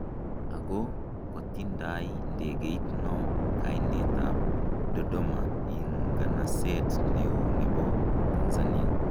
ako ko tindai ndegeit no kainet ab Dodoma ins'ganaseet neo nebo Tanzania